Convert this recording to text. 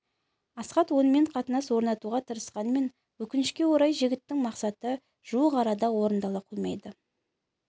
асхат онымен қатынас орнатуға тырысқанымен өкінішке орай жігіттің мақсаты жуық арада орындала қоймайды